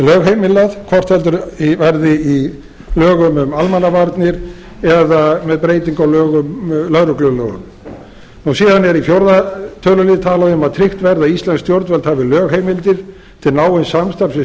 lögheimilað hvort heldur verði í lögum um almannavarnir eða með breytingu á lögreglulögum síðan er talað um í fjórða tölulið að tryggt verði að íslensk stjórnvöld hafi lögheimildir til náins samstarfs við